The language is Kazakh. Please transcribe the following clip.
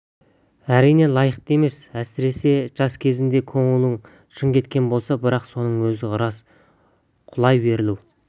әрине лайықты емес әсіресе жас кезінде көңілің шын кеткен болса бірақ соның өзі рас құлай берілу